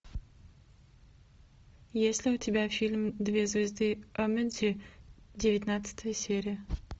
есть ли у тебя фильм две звезды онмеджи девятнадцатая серия